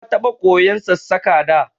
Na taɓa koyan Sassaƙa da